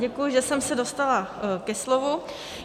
Děkuji, že jsem se dostala ke slovu.